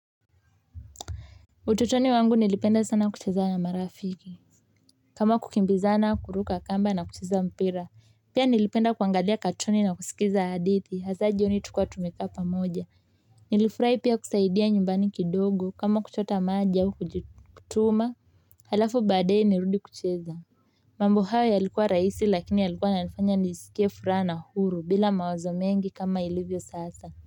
Utotoni wangu nilipenda sana kucheza na marafiki kama kukimbizana kuruka kamba na kucheza mpira pia nilipenda kuangalia katuni na kusikiza hadithi hasaa jioni tukiwa tumekaa pamoja nilifurahi pia kusaidia nyumbani kidogo kama kuchota maji au kujituma halafu baadaye nirudi kucheza mambo hayo yalikuwa rahisi lakini yalikuwa yananifanya nijisikie furaha na uhuru bila mawazo mengi kama ilivyo sasa.